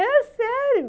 É sério!